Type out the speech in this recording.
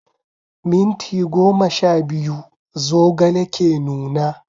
Minti goma sha biyu zogale ke nuna.